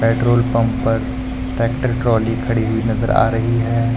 Petrol pump पर tractor trolley खड़ी हुई नजर आ रही हैं।